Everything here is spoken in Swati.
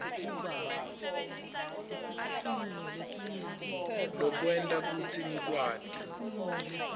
lokwente kutsi ngikwati